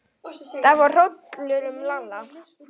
Það fór hrollur um Lalla.